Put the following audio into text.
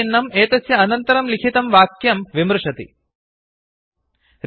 चिह्नम् एतस्य अनन्तरं लिखितं वाक्यं विमृशति कमेण्ट् करोति